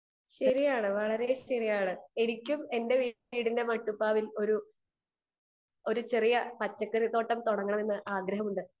speaker 2 ശരിയാണ് വളരെ ശരിയാണ് എനിക്കും എന്റെ വീടിന്റെ മട്ടുപ്പാവിൽ ഒരു ചെറിയ പച്ചക്കറി തോട്ടം തുടങ്ങണമെന്ന് ആഗ്രഹമുണ്ട്